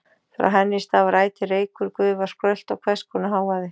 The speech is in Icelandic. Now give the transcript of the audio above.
Frá henni stafar ætíð reykur, gufa, skrölt og hvers konar hávaði.